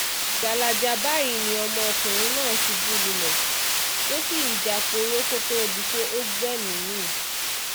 gbalaja báyìí ni ọmọkùnrin náà ṣubú lulẹ̀ tó sì ń jáporo kó tóó di pé ó gbẹ̀mí-ín mi